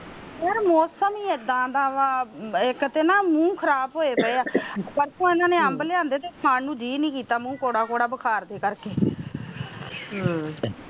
ਮੌਸਮ ਇਦਾ ਦਾ ਵ ਇਕ ਤਾ ਮੂੰਹ ਖਰਾਬ ਹੋਏ ਪਾਏ ਆ ਨਾਲੇ ਪਰਸੋ ਇਹਨਾਂ ਨੇ ਅੰਬ ਲਿਆਂਦੇ ਤੇ ਜੀਹ ਜਿਹਾ ਨੀ ਕੀਤਾ ਕੌੜੇ ਕੌੜੇ ਬੁਖਾਰ ਦੇ ਕਰਕੇ